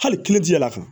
Hali yɛlɛla